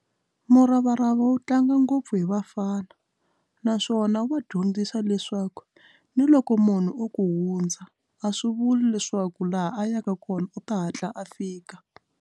Muravarava wu tlanga ngopfu hi vafana naswona wa dyondzisa leswaku ni loko munhu o ku hundza a swi vuli leswaku laha a yaka kona u ta hatla a fika.